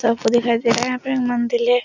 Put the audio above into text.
तो आपको दिखाई दे रहा हैं यहाँ पे मंदिर है।